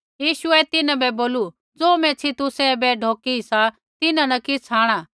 यीशुऐ तिन्हां बै बोलू ज़ो मैच्छ़ी तुसै ऐबै ढौकी सी तिन्हां न किछ़ आंणा